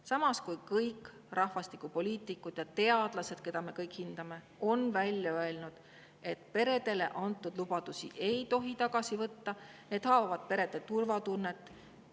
Samas on välja öelnud kõik rahvastikupoliitikud ja teadlased, keda me kõik hindame, et peredele antud lubadusi ei tohi tagasi võtta, see haavab perede turvatunnet.